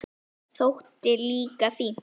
Það þótti líka fínt.